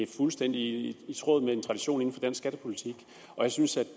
fuldstændig i tråd med en tradition i dansk skattepolitik og jeg synes